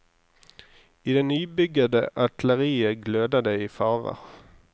I det nybyggede atelieret gløder det i farver.